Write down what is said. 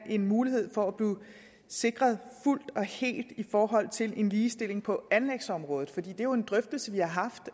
en mulighed for at blive sikret fuldt og helt i forhold til ligestilling på anlægsområdet for det er jo en drøftelse vi har haft